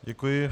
Děkuji.